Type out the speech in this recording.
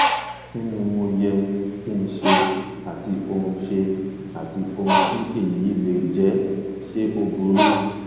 kí ni mo yẹ kí n ṣe àti ohun ṣe àti ohun tí èyí lè jẹ ṣe ó burú